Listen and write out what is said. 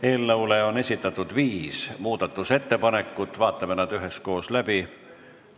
Eelnõu kohta on esitatud viis muudatusettepanekut, vaatame nad üheskoos läbi.